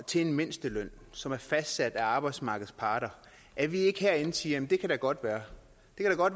til en mindsteløn som er fastsat af arbejdsmarkedets parter at vi ikke herinde siger jamen det kan da godt være